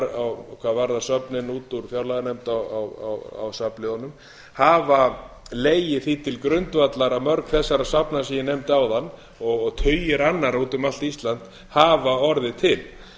hvað varðar söfnin út úr fjárlaganefnd á safnliðina hafa legið því til grundvallar að mörg þessara safna sem ég nefndi áðan og tugir annarra út um allt ísland hafa orðið til